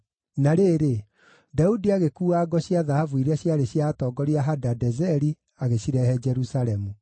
Na rĩrĩ, Daudi agĩkuua ngo cia thahabu iria ciarĩ cia atongoria a Hadadezeri agĩcirehe Jerusalemu.